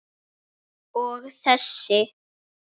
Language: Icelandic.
Og þessi?